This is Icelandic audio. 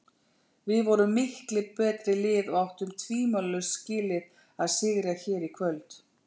Við vorum miklu betra liðið og áttum tvímælalaust skilið að sigra hér í kvöld.